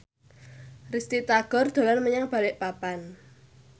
Risty Tagor dolan menyang Balikpapan